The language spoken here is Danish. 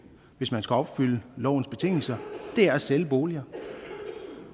hvis man skal opfylde lovens betingelser er at sælge boliger